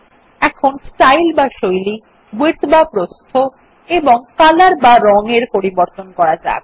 এখন স্টাইল বা শৈলী উইডথ বা প্রস্থ এবং কলর বা রং এর পরিবর্তন করা যাক